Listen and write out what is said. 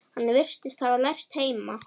Hann virðist hafa lært heima.